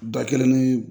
Da kelen ni